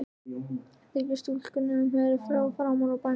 Þykir stúlkunni sem hún heyri hljóð framan úr bænum.